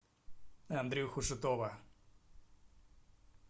андрюху шутова